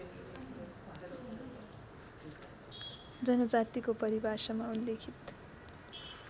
जनजातिको परिभाषामा उल्लिखित